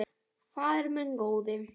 Faðir minn góði.